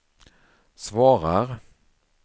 svarar